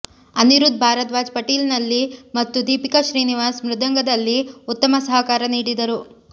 ಅನಿರುದ್ಧ ಭಾರದ್ವಾಜ್ ಪಿಟೀಲಿನಲ್ಲಿ ಮತ್ತು ದೀಪಿಕಾ ಶ್ರೀನಿವಾಸನ್ ಮೃದಂಗ ದಲ್ಲಿ ಉತ್ತಮ ಸಹಕಾರ ನೀಡಿದರು